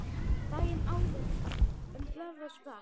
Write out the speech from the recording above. Daginn áður en blaðran sprakk.